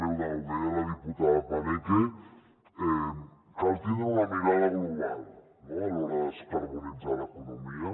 ho deia la diputada paneque cal tindre una mirada global no a l’hora de descarbonitzar l’economia